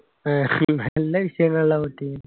ഏർ നല്ല വിഷയങ്ങളിലാ പൊട്ടിയത്